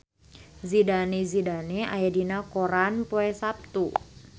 Zidane Zidane aya dina koran poe Saptu